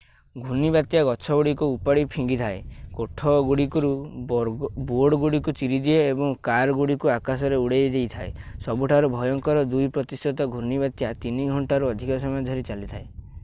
ଘୂର୍ଣ୍ଣିବାତ୍ୟା ଗଛଗୁଡିକୁ ଉପାଡ଼ି ଫିଙ୍ଗିଦିଏ କୋଠାଗୁଡ଼ିକରୁ ବୋର୍ଡଗୁଡିକ ଚିରିଦିଏ ଏବଂ କାରଗୁଡ଼ିକୁ ଆକାଶକୁ ଉଡ଼ାଇଦେଇଥାଏ ସବୁଠାରୁ ଭୟଙ୍କର ଦୁଇ ପ୍ରତିଶତ ଘୂର୍ଣ୍ଣିବାତ୍ୟା ତିନି ଘଣ୍ଟାରୁ ଅଧିକ ସମୟ ଧରି ଚାଲିଥାଏ